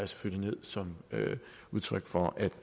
selvfølgelig som udtryk for